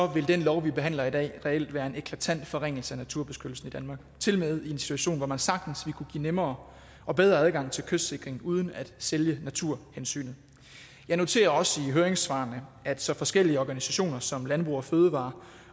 vil den lov vi behandler i dag reelt være en eklatant forringelse af naturbeskyttelsen i danmark tilmed i en situation hvor man sagtens ville kunne give nemmere og bedre adgang til kystsikring uden at sælge naturhensynet jeg noterer også i høringssvarene at så forskellige organisationer som landbrug fødevarer